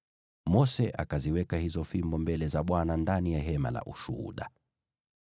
Mose akaziweka hizo fimbo mbele za Bwana ndani ya Hema la Ushuhuda.